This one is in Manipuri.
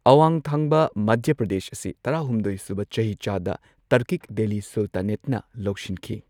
ꯑꯋꯥꯡ ꯊꯪꯕ ꯃꯙ꯭ꯌ ꯄ꯭ꯔꯗꯦꯁ ꯑꯁꯤ ꯇꯔꯥꯍꯨꯝꯗꯣꯢ ꯁꯨꯕ ꯆꯍꯤꯆꯥꯗ ꯇꯔꯀꯤꯛ ꯗꯦꯜꯂꯤꯅ ꯁꯨꯜꯇꯥꯅꯦꯠꯅ ꯂꯧꯁꯤꯟꯈꯤ꯫